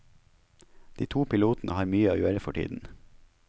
De to pilotene har mye å gjøre for tiden.